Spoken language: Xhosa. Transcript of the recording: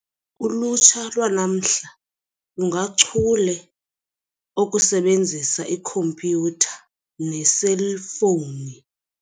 Ulutsha lwanamhla lungachule okusebenzisa ikhompyutha neeselfowuni.